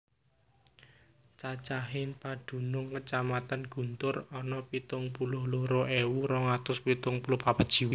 Cacahing padunung Kacamatan Guntur ana pitung puluh loro ewu rong atus pitung puluh papat jiwa